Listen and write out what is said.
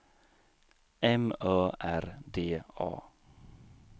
M Ö R D A